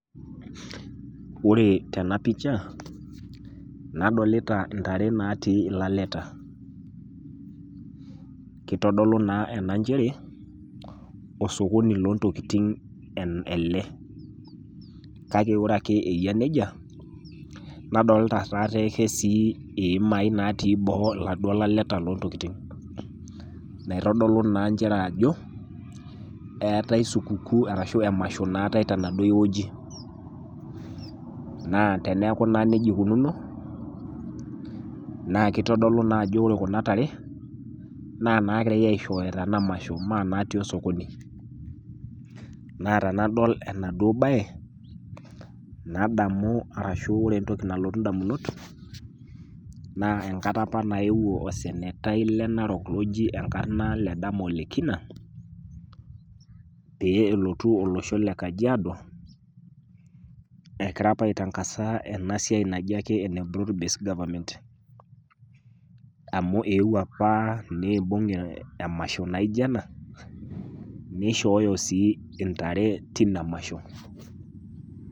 Ore tenapisha nadolita intare naatii ilaleta kitodolu naa ena nchere osokoni loontokiting ele Kake ore eyia nija nadolita sii ihemai lotii iladuo laleta loontokiting' naitodolu naa nchere ajo eetai supukuu arashu emasho naatai tenaduo wueji naa teniaku naa nija ukunuuno na itodolu ajo ore kuna tare naa naagirai aishooyo tena masho mee naatii osokoni Naa tenadol enadu b'ae nadamu enkata opa nayewuo osenetai le Narok oji enkarna Ledama Ole kina peelotu olosho le kajiado egira aitangasa ena siai naji ake ene broad based government amu eewuo opa neewuo emasho naijo ena nishooyo sii intare tina masho